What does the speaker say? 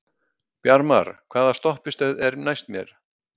Bjarmar, hvaða stoppistöð er næst mér?